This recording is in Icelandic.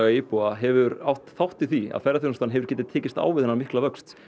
íbúða hefur átt þátt í því að ferðaþjónustan hefur getað tekist á við þennan mikla vöxt